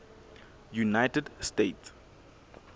united states